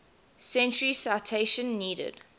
century citation needed